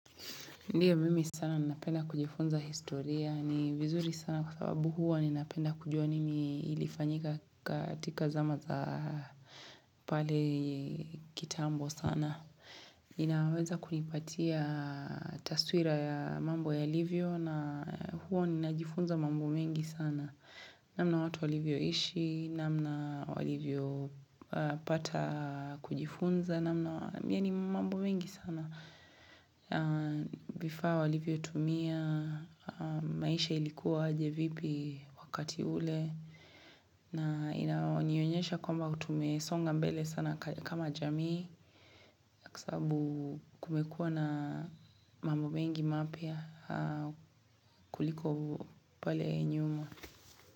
Ndio mimi sana napenda kujifunza historia ni vizuri sana kwa sababu hua ninapenda kujua nini ilifanyika katika zama za pale kitambo sana. Ninaweza kunipatia taswira ya mambo yalivyo na huwa ninajifunza mambo mengi sana. Namna watu walivyo ishi, namna walivyo pata kujifunza, namna yani mambo mengi sana. Vifaa walivyo tumia, maisha ilikuwa aje vipi wakati ule na inanionyesha kwamba tumesonga mbele sana kama jamii Kwa sababu kumekuwa na mambo mengi mapya kuliko pale nyuma.